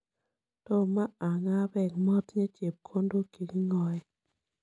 Tomo ang'a peek, matinye chepkondok che king'ae.